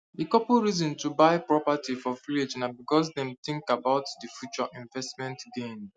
the couple reason to buy property for village na because dem dey think about the future investment gains